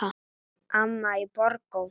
Amma í Borgó.